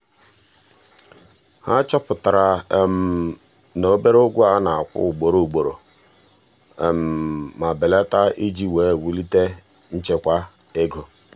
ha chọpụtara na obere ụgwọ a na-akwụ ugboro ugboro ma belata iji wee wulite nchekwa ego.